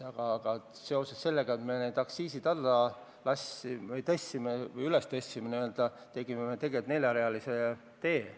Aga sellega, et me need aktsiisid kõrgele tõstsime, ehitasime me tegelikult neljarealise tee.